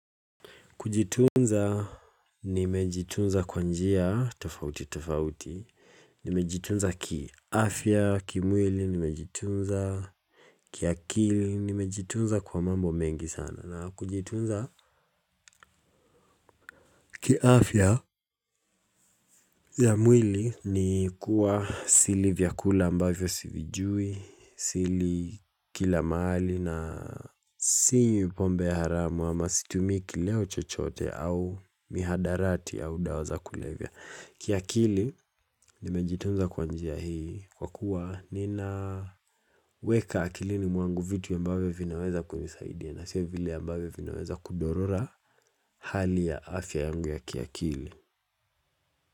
Kujitunza nimejitunza kwa njia tofauti tofauti, nimejitunza kiafya kimwili nimejitunza kiakili nimejitunza kwa mambo mengi sana na kujitunza kiafya ya mwili ni kuwa sili vyakula ambavyo sivijui sili kila mahali na sinywi pombe haramu ama situmii kileo chochote au mihadarati au dawa za kulevya kiakili nimejitunza kwa njia hii kwa kuwa ninaweka akilini mwangu vitu ambavyo vinaweza kunisaidia na sio vile ambvyo vinaweza kudhorora hali ya afya yangu ya kiakili.